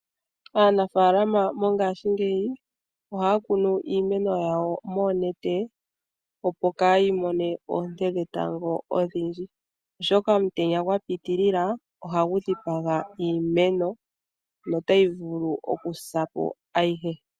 Aanafaalama mongashingeyi ohaya kunu iimeno yawo moonete opo kaayimone oonte dhetango odhindji oshoka omutenya gwa pitilila ohagu dhipaga iimeno notayi vulu okusa po ayihe.